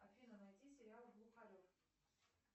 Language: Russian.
афина найди сериал глухарев